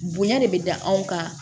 Bonya de bɛ da anw kan